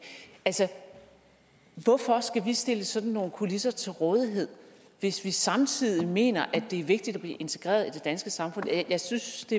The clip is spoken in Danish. hvorfor skal vi stille sådan nogle kulisser til rådighed hvis vi samtidig mener at det er vigtigt at blive integreret i det danske samfund jeg synes